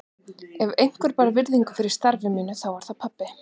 Ef einhver bar virðingu fyrir starfi mínu þá var það pabbi.